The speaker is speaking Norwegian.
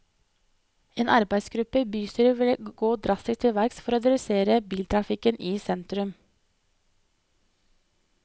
En arbeidsgruppe i bystyret vil gå drastisk til verks for å redusere biltrafikken i sentrum.